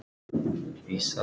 Ég er hætt.